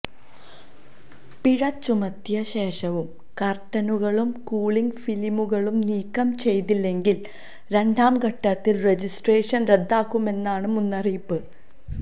പിഴ ചുമത്തിയ ശേഷവും കർട്ടനുകളും കൂളിങ് ഫിലിമുകളും നീക്കം ചെയ്തില്ലെങ്കിൽ രണ്ടാം ഘട്ടത്തിൽ രജിസ്ട്രേഷൻ റദ്ദാക്കുമെന്നാണ് മുന്നറിയിപ്പ്